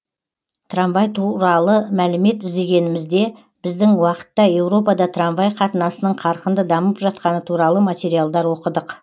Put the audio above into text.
трамвай туралы мәлімет іздегенімізде біздің уақытта европада трамвай қатынасының қарқынды дамып жатқаны туралы материалдар оқыдық